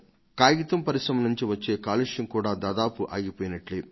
కాగితం పరిశ్రమ నుంచి వచ్చే కాలుష్యం కూడా దాదాపు ఆగిపోయినట్లు